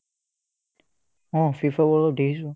অ FIFA world cup দেখিছো